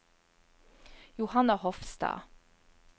Johanna Hofstad